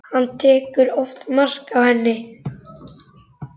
Hann tekur oftast mark á henni.